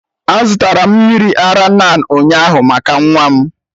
A zụtara m mmiri ara NAN ụnyaahụ maka nwa m.